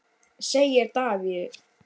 segir Davíð.